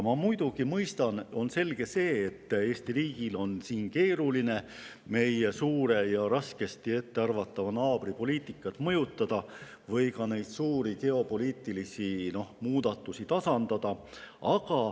Ma muidugi mõistan, et on selge see, et Eesti riigil on keeruline meie suure ja ettearvamatu naabri poliitikat mõjutada või ka suuri geopoliitilisi muudatusi tasandada.